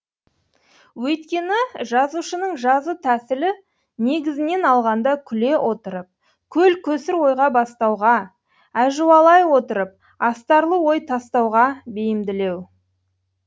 өйткені жазушының жазу тәсілі негізінен алғанда күле отырып көл көсір ойға бастауға әжуалай отырып астарлы ой тастауға бейімділеу